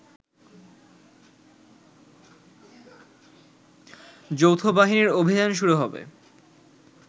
যৌথবাহিনীর অভিযান শুরু হবে